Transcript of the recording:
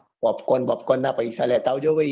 popcorn popcorn ના પૈસા લેતા આવજો ભઈ.